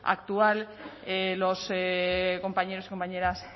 actual los compañeros y compañeras